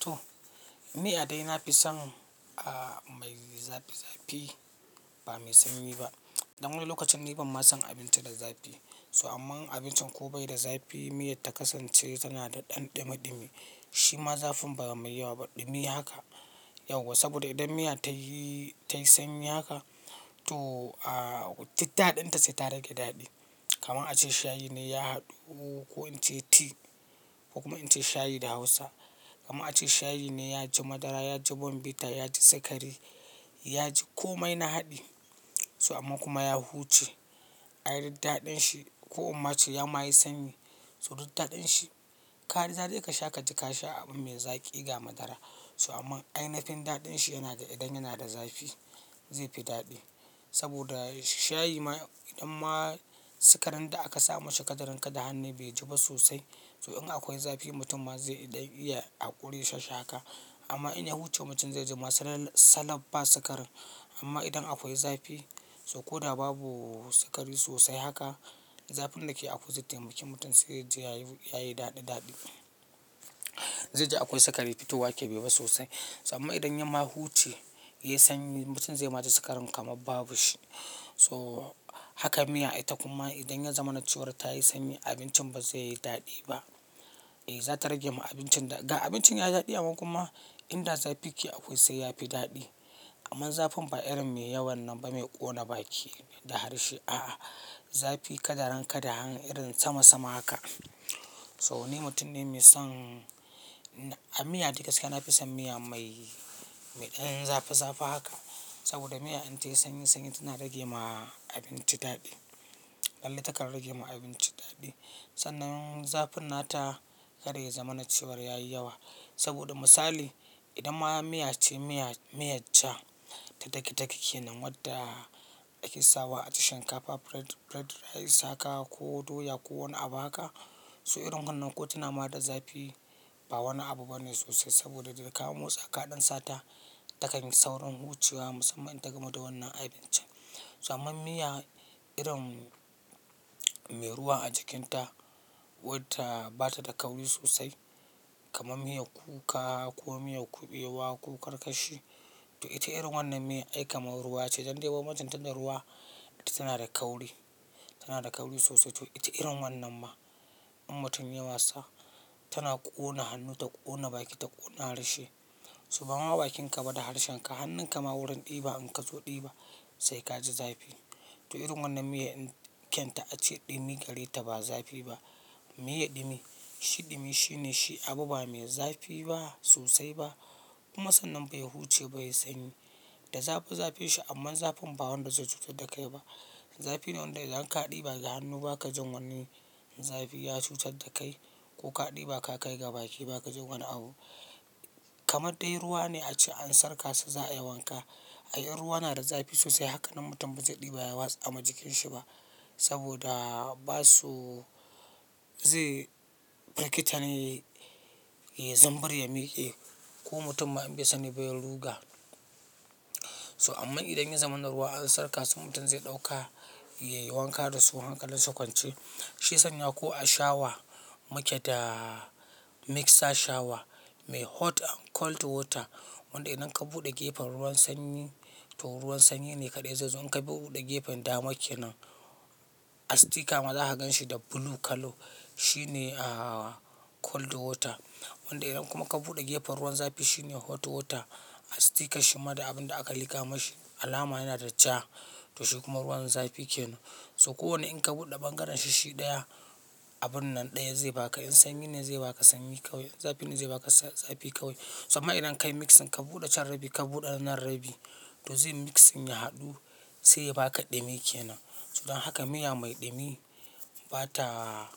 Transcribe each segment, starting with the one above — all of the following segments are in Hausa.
To, miya dai na fi son a mai zafi zafi ba mai sanyi ba. Dan wani lokacin ni ban ma son abinci da zafi. So amman abincin ko bai da zafi, miyar ta kasance tana da ɗan ɗumi-ɗumi. Shi ma zafin ba mai yawa ba, ɗumi haka. Yauwa saboda idan miya tayi, tayi sanyi haka to, duk daɗinta sai ta rage daɗi. Kaman ace shayi ne ya haɗu ko in ce tea ko kuma in ce shayi da Hausa. Kaman ace shayi ne ya ji madara, ya ji bonvita, ya ji sukari, ya ji komai na haɗi. So amman kuma ya huce. Ai duk daɗin shi ko inma ce ya ma yi sanyi so duk daɗin shi. Ka ji daɗi ka sha, ka ji ka sha abu mai zaƙi ga madara. So amman ainihin daɗin shi yana ga idan yana da zafi, zai fi daɗi. Saboda shi shayi ma idan ma sikarin da aka sa mashi ka daren ka da hannai bai ji ba sosai, so in akwai zafi mutum ma zai ɗan iya haƙuri ya sha shi haka. Amma in ya huce mutum zai ji ma salab ba sikarin. Amma idan akwai zafi so ko da babu sikari sosai haka, zafin da ke akwai zai taimaki mutum sai ya ji ya yi daɗi-daɗi. Zai ji akwai sikari fitowa neh bai yi ba sosai. So amman idan ya ma huce, ya yi sanyi, mutum zai ma ji sikarin kamar babu shi. So haka miya ita kuma idan ya zamana cewar ta yi sanyi, abincin ba zai yi daɗi ba. Eh, za ta rage ma abincin daɗi. Ga abincin ya yi daɗi amman kuma inda zafi ya ke akwai sai ya fi daɗi. Amman zafin ba irin mai yawan nan ba mai ƙona baki da harshe, a'a. Zafi kadaren kadahan irin sama sama haka. So ni mutum ne mai son, miya dai gaskiya na fi son miya mai, mai ɗan zafi zafi haka. Saboda miya in tayi sanyi-sanyi tana rage ma abinci daɗi. Lalle takan rage ma abinci daɗi. Sannan zafin nata kada ya zamana cewar ya yi yawa. Saboda misali, idan ma miya ce miya, miyar ja ta dage dage ke nan wadda take sawa a ci shinkafa, fried rice haka ko doya ko wani abu haka. So irin wannan ko tana ma da zafi ba wani abu bane sosai saboda daga ka mosa kaɗan sata takan yi saurin huciwa musamman idan ta gamu da wannan abincin. So amman miya irin mai ruwa a jikinta wadda ba ta da kauri sosai kamar miyar kuka ko miyar kuɓewa ko karkashi to ita irin wannan miyan ai kamar ruwa ce. Don dai banbancin ta da ruwa ita tana da kauri, tana da kauri sosai to ita irin wannan ma in mutum ya yi wasa tana ƙona hannu, ta ƙona baki, ta ƙona harshe. So bama bakinka ba da harshen ka, hannunka ma wurin ɗiba in ka zo ɗiba sai ka ji zafi. To irin wannan miyan kyanta ace ɗumi gari ta ba zafi ba. Miyar ɗumi, shi ɗumi shine shi abu ba mai zafi ba sosai ba kuma sannan bai huce ba ya yi sanyi. Da zafi-zafin shi amma zafin ba wanda zai cutar da kai ba. Zafi ne wanda idan ka ɗiba ga hannu ba ka jin wani zafi ya cutar da kai ko ka ɗiba ka kai ga baki ba ka jin wani abu. Kamar dai ruwa ne ace an surka shi za'a yi wanka. Ai in ruwa na da zafi sosai haka nan mutum ba zai ɗiba ya watsa ma jikin shi ba saboda ba su zai firgita ne, ya zumbura, ya miƙe ko mutum ma in bai sani ba ya ruga. Toh Ammar idan ya zamana ruwa an surka su mutum zai ɗauka ya yi wanka da su hankalinsa kwance. Shi ya sanya ko a shawa muke da mixer shawa mai hot and cold water. Wanda idan ka buɗe gefen ruwan sanyi to ruwan sanyi ne kaɗai zai zo. In ka buɗe gefen dama ke nan a sticka ma za ka ganshi da blue colour. Shi ne ah, cold water. Wanda idan kuma ka buɗe gefen ruwan zafi shine hot water. A stickar shi ma da abin da aka lika mashi alama yana da ja to shi kuma ruwan zafi ke nan. So kowane in ka buɗe bangaren shi shi ɗaya, abun nan ɗaya zai baka. In sanyi ne zai baka sanyi kawai, in zafi ne zai baka zafi kawai. So amma idan ka yi mixing, ka buɗe can rabi, ka buɗe nan rabi to zai mixing ya haɗu sai ya baka ɗumi ke nan. So don haka miya mai ɗumi ba ta,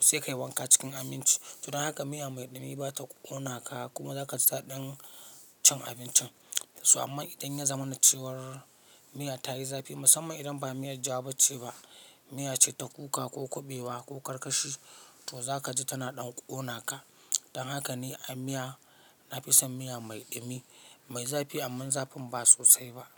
sai ka yi wanka cikin aminci. So don haka miya mai ɗumi ba ta ƙona ka kuma za ka ji daɗin cin abincin. So ammar idan ya zamana cewar miya ta yi zafi musamman idan ba miyar ja ba ce ba, miya ce ta kuka ko kuɓewa ko karkashi to za ka ji tana ɗan ƙona ka. Dan haka ni a miya, na fi son miya mai ɗumi, mai zafi ammar zafin ba sosai ba.